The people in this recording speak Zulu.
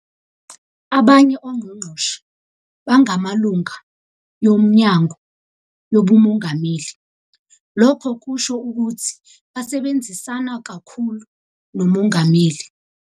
Abanye ongqongqoshe bangamalunga yoMnyango yobuMongameli, lokho kusho ukuthi basebenzisana kakhulu noMongameli.